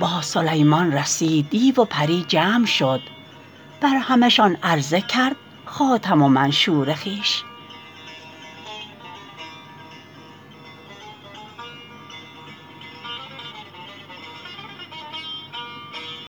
باز سلیمان رسید دیو و پری جمع شد بر همه شان عرضه کرد خاتم و منشور خویش ساقی اگر بایدت تا کنم این را تمام باده گویا بنه بر لب مخمور خویش